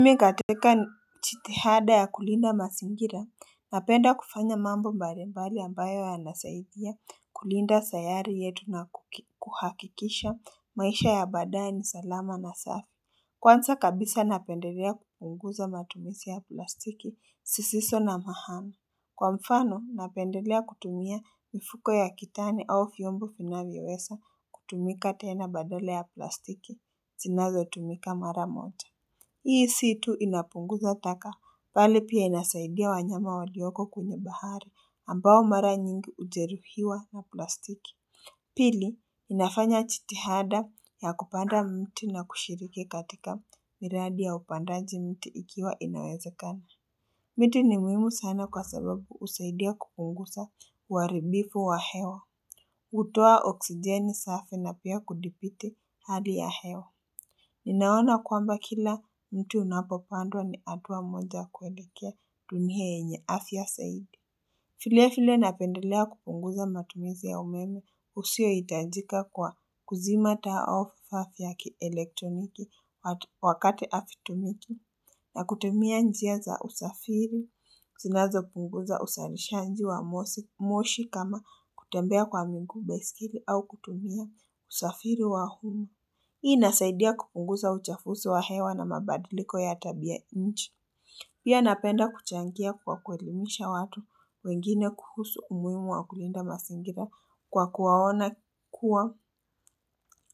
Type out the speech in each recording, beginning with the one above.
Mimi katika jitihada ya kulinda mazingira napenda kufanya mambo mbalimbali ambayo yanasaidia kulinda sayari yetu na kuhakikisha maisha ya baadae ni salama na safi Kwanza kabisa napendelea kupunguza matumizi ya plastiki zisizo na mahaa Kwa mfano napendelea kutumia mifuko ya kitani au vyombu vinavyoweza kutumika tena badala ya plastiki zinazotumika mara moja Hii si tu inapunguza taka, bali pia inasaidia wanyama walioko kwenye bahari ambao mara nyingi hujeruhiwa na plastiki. Pili, inafanya jitihada ya kupanda mti na kushiriki katika miradi ya upandaji mti ikiwa inawezekani. Miti ni muhimu sana kwa sababu husaidia kupunguza uharibifu wa hewa. Hutoa oksijeni safi na pia kudhibiti hali ya hewa. Ninaona kwamba kila mti unapopandwa ni hatua moja kuelekea dunia yenye afya zaidi. Vile vile napendelea kupunguza matumizi ya umeme usiohitajika kwa kuzima taa au vifaa vya kielektroniki wakati havitumiki. Na kutumia njia za usafiri, zinazopunguza uzalishaji wa moshi kama kutembea kwa miguu baiskeli au kutumia usafiri wa humu. Hii inasaidia kupunguza uchafuzi wa hewa na mabadiliko ya tabia nchi. Pia napenda kuchangia kwa kuelimisha watu wengine kuhusu umuhimu wa kulinda mazingira kwa kuwaona kuwa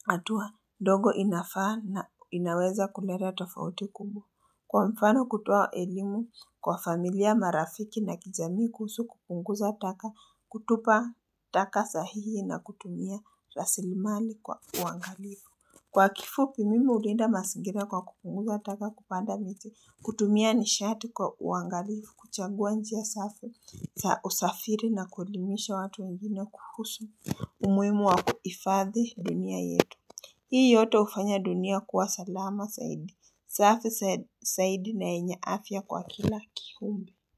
hatua ndogo inafaa na inaweza kuleta tofauti kumbwa. Kwa mfano kutoa elimu kwa familia marafiki na kijamii kuhusu kupunguza taka kutupa taka sahihi na kutumia rasilimali kwa uangalifu. Kwa kifupi mimi hulinda mazingira kwa kupunguza taka kupanda miti kutumia nishati kwa uangalifu kuchagua njia safi za usafiri na kuelimisha watu wengine kuhusu umuhimu wa kuifadhi dunia yetu Hii yote hufanya dunia kuwa salama zaidi, safi zaidi na yenya afya kwa kila kiumbe.